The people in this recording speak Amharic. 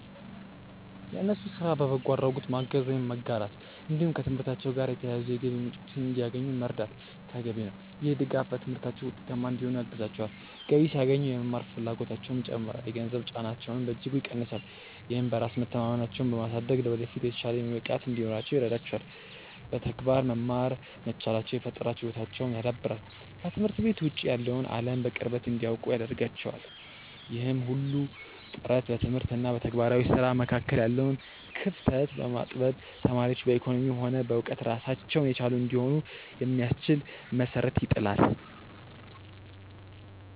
የእነሱን ስራ በበጎ አድራጎት ማገዝ ወይም መጋራት፣ እንዲሁም ከትምህርታቸው ጋር የተያያዙ የገቢ ምንጮችን እንዲያገኙ መርዳት ተገቢ ነው። ይህ ድጋፍ በትምህርታቸው ውጤታማ እንዲሆኑ ያግዛቸዋል፤ ገቢ ሲያገኙ የመማር ፍላጎታቸውም ይጨምራል፣ የገንዘብ ጫናቸውንም በእጅጉ ይቀንሳል። ይህም በራስ መተማመናቸውን በማሳደግ ለወደፊት የተሻለ የሙያ ብቃት እንዲኖራቸው ይረዳቸዋል። በተግባር መማር መቻላቸው የፈጠራ ችሎታቸውን ያዳብራል፤ ከትምህርት ቤት ውጭ ያለውን አለም በቅርበት እንዲያውቁ ያደርጋቸዋል። ይህ ሁሉ ጥረት በትምህርት እና በተግባራዊ ስራ መካከል ያለውን ክፍተት በማጥበብ ተማሪዎች በኢኮኖሚም ሆነ በእውቀት ራሳቸውን የቻሉ እንዲሆኑ የሚያስችል መሰረት ይጥላል።